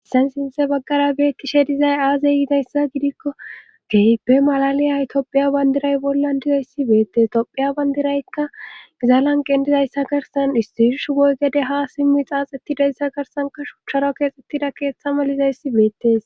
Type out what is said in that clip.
hissan sinthe baggara beetti she dizay aazey yiidayssa gidikko gehipe malaliy haytophiya bandiray bollan dizayssi beettes itophiya bandiraykka gizaalan gendizayssa karsan istirsh woygede ha simmi xaaxettidayssa garsanka shucharo keexxettida keeththa malizayssi beettes